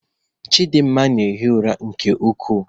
Chidimma na-ehi ụra nke ukwuu